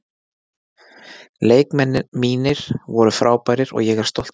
Leikmenn mínir voru frábærir og ég er stoltur af þeim.